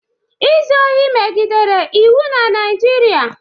Izu ohi megidere iwu na Naịjirịa.